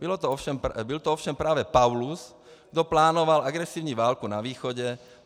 Byl to ovšem právě Paulus, kdo plánoval agresivní válku na východě.